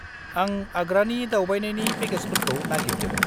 -आं आग्रानि दावबायनायनि पेकेजफोरखौ नागिरदों।